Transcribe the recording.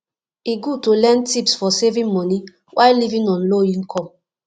e good to learn tips for saving money while living on low income